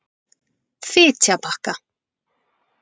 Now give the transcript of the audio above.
Fitjabakka